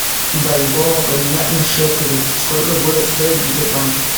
бальбоа поменять на шекели сколько будет стоить в сбербанке